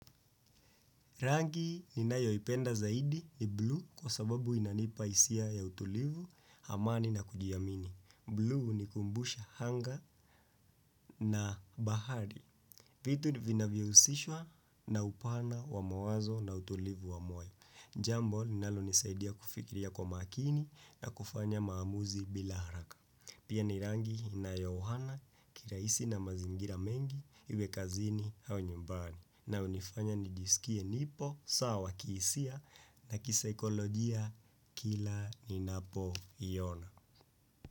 Rangi ninayoipenda zaidi ni blue kwa sababu inanipa hisia ya utulivu, hamani na kujiamini. Blue ni kumbusha hanga na bahari. Vitu vinavyohusishwa na upana wa mawazo na utulivu wa moyo. Jambo, linalonisaidia kufikiria kwa makini na kufanya maamuzi bila haraka. Pia ni rangi inayohohana, kirahisi na mazingira mengi, iwe kazini au nyumbani. Na hunifanya nijisikie nipo, sawa kihisia na kisaikolojia kila ninapoiona.